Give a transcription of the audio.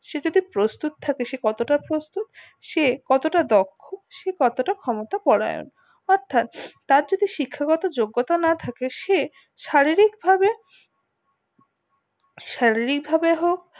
সে যদি প্রস্তুত থাকে সে কত টা প্রস্তুত সে কত টা দক্ষ সে কত তা ক্ষমতা পরোয়ান অর্থাৎ তার যদি শিক্ষা গত যোগ্যতা না থাকে সে শারীরিক ভাবে শারীরিক ভাবে হোক